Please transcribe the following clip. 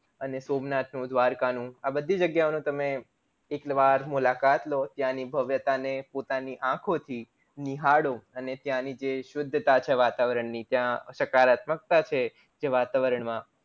અને સોમનાથ નું દ્વારકા નું આ બધી જગ્યા ઓનું તમે એક વાર મુલાકાત લો ત્યાની ભવ્યતા ને પોતાની આંખો થી નિહાળો અને ત્યાં ની જે શુદ્ધતા છે વાતાવરણની ત્યાં સકારાત્મકતા છે જે વાતાવરણ માં